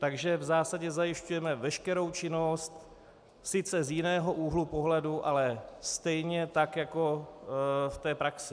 Takže v zásadě zajišťujeme veškerou činnost, sice z jiného úhlu pohledu, ale stejně tak jako v té praxi.